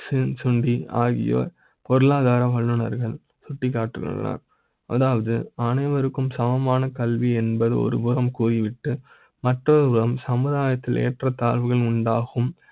சின்சொளி ஆகியோர் பொருளாதார வல்லுனர்கள் சுட்டிக்காட்டுகின்றனர் அதாவது அனைவருக்கு ம் சமமான கல்வி என்பது ஒருபுற ம் கூறி விட்டு மருத்துவ ம் சமுதாய த்தில் ஏற்ற த் தாழ்வுகளும் உண்டாகும்